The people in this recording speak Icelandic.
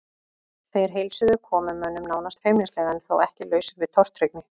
Þeir heilsuðu komumönnum nánast feimnislega en þó ekki lausir við tortryggni.